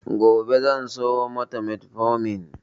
Gobe zan siyo mata metformin.